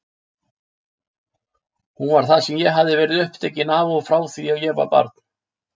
Hún var það sem ég hafði verið upptekin af frá því ég var barn.